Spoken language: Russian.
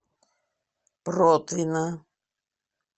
протвино